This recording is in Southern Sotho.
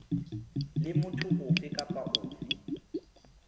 le motho ofe kapa ofe